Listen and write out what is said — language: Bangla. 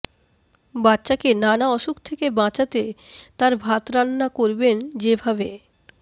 বাচ্চাকে নানা অসুখ থেকে বাঁচাতে তার ভাত রান্না করবেন যে ভাবে